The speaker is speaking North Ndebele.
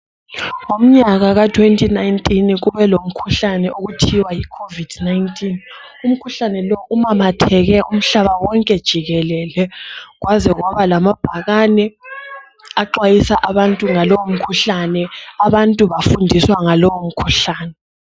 Ngomnyaka ka 2019 kube lomkhuhlane okuthiwa yi COVID 19 Umkhuhlane lowu umamatheke umhlaba wonke jikelele kwaze kwaba lamabhakane axwayisa abantu ngalomkhuhlane abantu bafundiswa ngalomkhuhlane